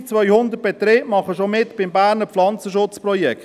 3200 Betriebe machen bereits mit beim Berner Pflanzenschutzprojekt.